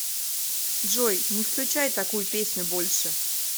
джой не включай такую песню больше